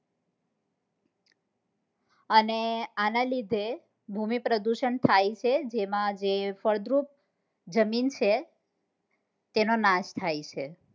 અને આના લીધે ભૂમિ પ્રદુષણ થાય છે જેમાં જે ફળદ્રુપ જમીન છે તેનો નાશ થાય છે